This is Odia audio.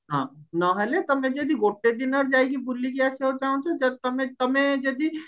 ହଁ ନହେଲେ ତମେ ଯଦି ଗୋଟେ ଦିନରେ ଯାଇକି ବୁଲିକି ଆସିବାକୁ ଚାହୁଁଛ ଯଦି ତମେ ତମେ ଯଦି